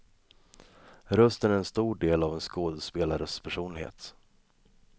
Rösten är en stor del av en skådespelares personlighet.